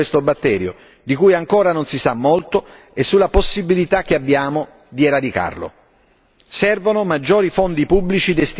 Innanzitutto, abbiamo bisogno di continuare a studiare questo batterio di cui ancora non si sa molto e la possibilità che abbiamo di eradicarlo.